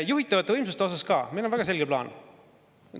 Juhitavate võimsustega on meil ka väga selge plaan.